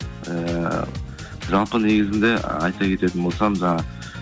ыыы жалпы негізінде айта кететін болсам жаңағы